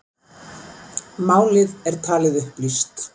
Málið er talið upplýst